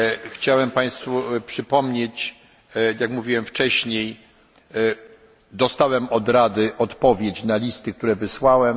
Chciałbym państwu przypomnieć, jak mówiłem wcześniej, dostałem od Rady odpowiedź na listy, które wysłałem.